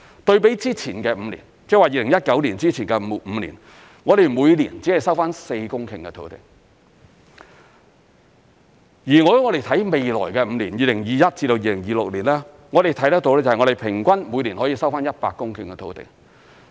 對比之前的5年，即2019年之前的5年，我們每年只收回4公頃的土地，如果我們看未來的5年，即2021年至2026年，我們看得到平均每年可收回100公頃的土地。